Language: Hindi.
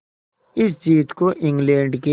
इस जीत को इंग्लैंड के